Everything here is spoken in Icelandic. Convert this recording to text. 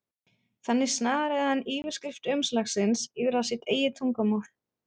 Þannig snaraði hann yfirskrift umslagsins yfir á sitt eigið tungumál.